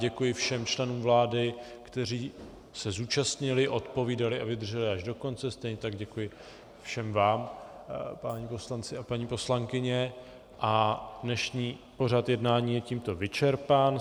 Děkuji všem členům vlády, kteří se zúčastnili, odpovídali a vydrželi až do konce, stejně tak děkuji všem vám, páni poslanci a paní poslankyně, a dnešní pořad jednání je tímto vyčerpán.